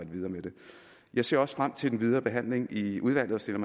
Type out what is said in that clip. videre med det jeg ser også frem til den videre behandling i udvalget og stiller